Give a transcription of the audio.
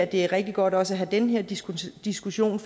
det er rigtig godt også at have den her diskussion diskussion